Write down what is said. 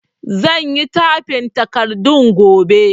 Zan yi tyfin takardun gobe